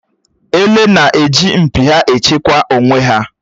Èlé na-eji mpi ha échekwà onwé hà.